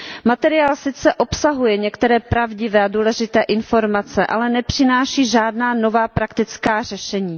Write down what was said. Materiál sice obsahuje některé pravdivé a důležité informace, ale nepřináší žádná nová praktická řešení.